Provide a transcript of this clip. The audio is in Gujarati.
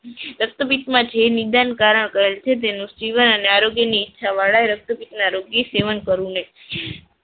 રક્તપીતમાં જે નિદાનકારક હોય છે. જીવન અને આરોગ્યની ઈચ્છા વાળા રક્તપિત રોગીએ સેવન કરવું નહીં.